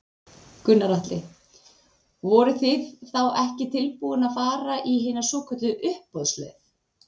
Gunnar Atli: Voruð þið þá ekki tilbúin að fara í hina svokölluðu uppboðsleið?